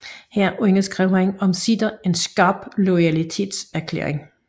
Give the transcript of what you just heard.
Her underskrev han omsider en skarp loyalitetserklæring